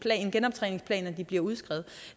genoptræningsplan når de bliver udskrevet